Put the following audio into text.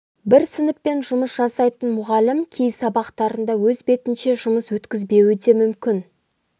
бір сыныппен жұмыс жасайтын мұғалім кей сабақтарында өз бетінше жұмыс өткізбеуі де мүмкін